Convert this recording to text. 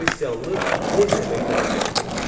Xristianlıq necə meydana gəldi?